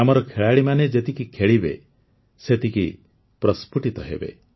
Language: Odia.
ଆମର ଖେଳାଳିମାନେ ଯେତିକି ଖେଳିବେ ସେତିକି ପ୍ରସ୍ଫୁଟିତ ହେବେ